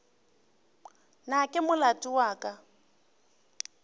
na ke molato wa ka